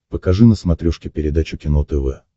покажи на смотрешке передачу кино тв